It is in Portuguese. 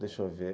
Deixa eu ver.